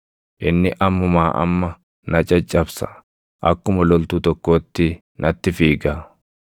Inni ammumaa amma na caccabsa; akkuma loltuu tokkootti natti fiiga.